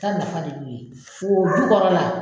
Ta nafa de b'o ye fo dukɔrɔ la.